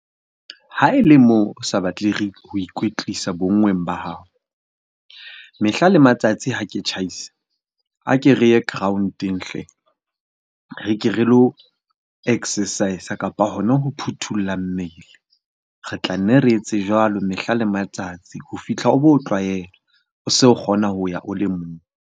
Ha e le moo o sa batle ikwetlisa bonngweng ba hao. Mehla le matsatsi ha ke tjhaisa a ke re ye ground-eng hle! Re ke re lo exercise, kapa hona ho phuthulla mmele. Re tla nne re etse jwalo mehla le matsatsi ho fihlela o bo tlwaela. O so kgona ho ya o le mong.